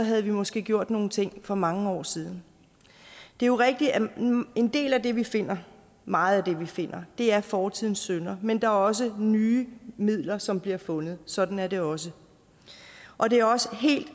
havde vi måske gjort nogle ting for mange år siden det er jo rigtigt at en del af det vi finder meget af det vi finder er fortidens synder men det er også nye midler som bliver fundet sådan er det også og det er også helt